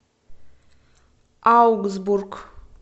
аугсбург